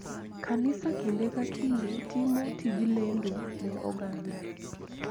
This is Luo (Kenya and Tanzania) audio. Kanisa kinde ka kinde timo tij lendo ne oganda.